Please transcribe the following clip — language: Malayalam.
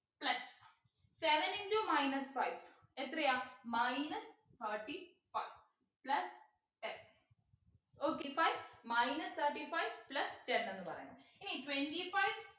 plus seven into minus five എത്രയാ minus thirty five plus ten okay five minus thirty five plus ten എന്ന് പറയുന്നെ ഇനി twenty five